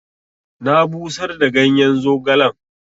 Na busar da ganyen zogalen.